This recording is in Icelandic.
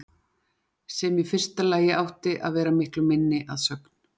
Sem í fyrsta lagi átti að vera miklu minni, að sögn